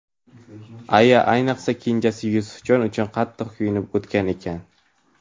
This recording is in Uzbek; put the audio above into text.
Aya ayniqsa kenjasi Yusufjon uchun qattiq kuyunib o‘tgan ekan.